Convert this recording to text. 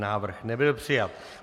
Návrh nebyl přijat.